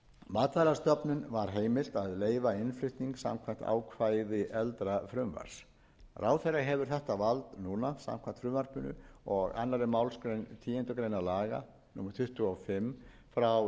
matvælastofnun var heimilt að leyfa innflutning samkvæmt ákvæði eldra frumvarps ráðherra hefur þetta vald núna samkvæmt frumvarpinu og annarrar málsgreinar tíundu grein laga númer tuttugu og fimm nítján